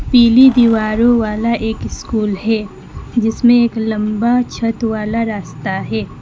पीली दीवारों वाला एक स्कूल है जिसमें एक लंबा छत वाला रास्ता है।